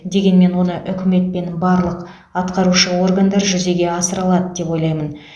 дегенмен оны үкімет пен барлық атқарушы органдар жүзеге асыра алады деп ойлаймын